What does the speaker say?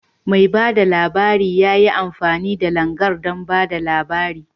Mai bada labarin ya yi amfani da Langar don ba da labari.